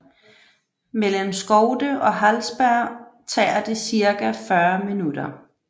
Mellem Skövde og Hallsberg tager det cirka 40 minutter